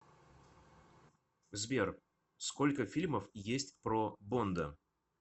сбер сколько фильмов есть про бонда